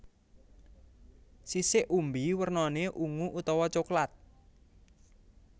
Sisik umbi wernané ungu utawa coklat